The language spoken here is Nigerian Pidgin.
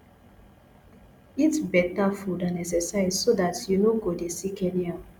eat better food and exercise so dat you no go dey sick anyhow